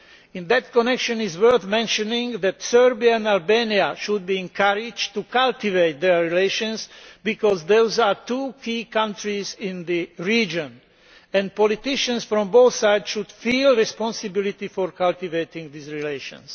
In that connection it is worth mentioning that Serbia and Albania should be encouraged to cultivate their relations, because those are two key countries in the region, and politicians from both sides should feel responsibility for cultivating relations.